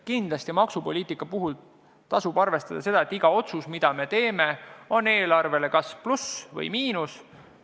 Kindlasti maksupoliitika puhul tasub arvestada seda, et iga otsus, mis me teeme, tähendab eelarvele kas plussi või miinust.